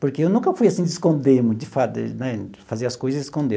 Porque eu nunca fui assim, de esconder muito, de fazer né fazer as coisas e esconder.